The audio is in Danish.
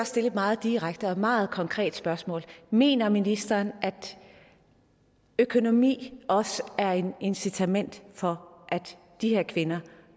stille et meget direkte og meget konkret spørgsmål mener ministeren at økonomi også er et incitament for at de her kvinder